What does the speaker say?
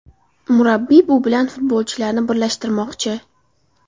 Murabbiy bu bilan futbolchilarni birlashtirmoqchi.